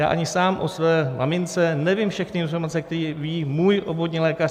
Já ani sám o své mamince nevím všechny informace, které ví její obvodní lékař.